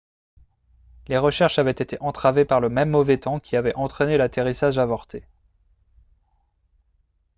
les recherches avaient été entravées par le même mauvais temps qui avait entraîné l'atterrissage avorté